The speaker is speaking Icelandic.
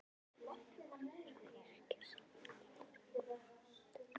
Einu sinni voru þeir að yrkja saman Halldór og Gvendur.